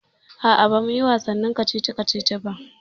Aa, ba muyi wasannin kacici kacici ba